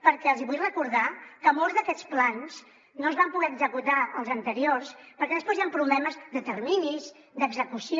perquè els hi vull recordar que molts d’aquests plans no es van poder executar els anteriors perquè després hi han problemes de terminis d’execució